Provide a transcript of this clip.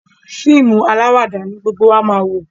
fíìmù alawada ní gbógbó wá má wọ.